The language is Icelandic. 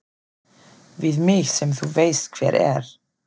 Við mig sem þú veist hver er.